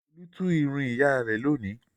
Olú tú irun ìyá rẹ̀ lónìí.